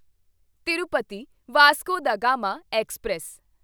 Tirupati Vasco da Gama express